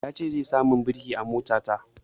Ya ce zai sa min birki a mota ta